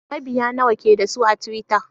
Mabiya nawa ke da su a twitter?